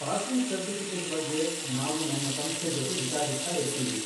Passing certificate ಬಗ್ಗೆ ನಾವು ನಮ್ಮ ಸಂಸ್ಥೆ ಜೊತೆ ವಿಚಾರಿಸ್ತಾ ಇರ್ತೀವಿ.